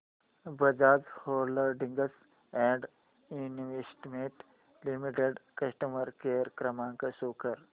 Bajaj holdings and investment limited customer care क्रमांक show कर